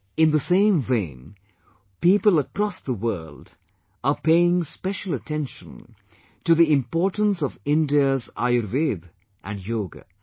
In the same vein, people across the world are paying special attention to the importance of India's Ayurveda and Yoga